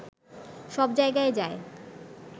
সব জায়গায় যায়